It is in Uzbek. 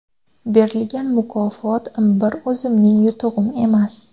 Berilgan mukofot bir o‘zimning yutug‘im emas.